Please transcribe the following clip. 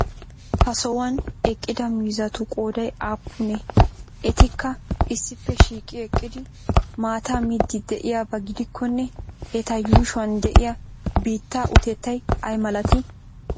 ha sohuwan eqqida miizzatu qooday aapunee? etikka issippe shiiqi eqqidi maataa miiddi de'iyaba gidikkonne eta yuushuwan de'iya biittaa utettay ay malatii?